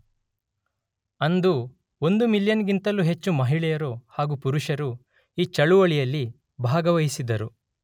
ಅಂದು ಒಂದು ಮಿಲಿಯನ್ ಗಿಂತಲು ಹೆಚ್ಹು ಮಹಿಳೆಯರು ಹಾಗು ಪುರುಷರು ಈ ಚಳುವಳಿಯಲ್ಲಿ ಭಾಗವಹಿಸಿದರು.